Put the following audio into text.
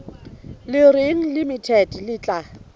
le reng limited le tla